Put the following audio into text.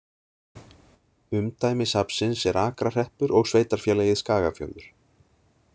Umdæmi safnsins er Akrahreppur og Sveitarfélagið Skagafjörður.